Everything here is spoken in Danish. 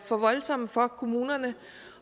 for voldsomme for kommunerne